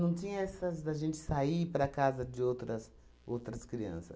Não tinha essas da gente sair para a casa de outras outras crianças.